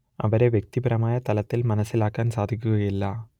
അവരെ വ്യക്തിപരമായ തലത്തിൽ മനസ്സിലാക്കാൻ സാധിക്കുകയില്ല